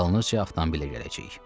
Dalınca avtomobillə gələcəyik.